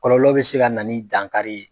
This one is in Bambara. Kɔlɔlɔ be se ka na ni dankari ye